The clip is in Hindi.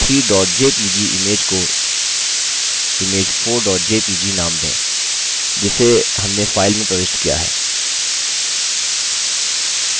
image 3 jpg image को image4 jpg नाम दें जिसे हमने file में प्रविष्ट किया है